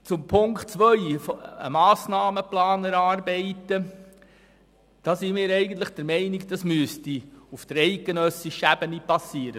Zu Ziffer 2: Wir sind der Meinung, die Erarbeitung eines Massnahmenplans müsste auf eidgenössischer Ebene erfolgen.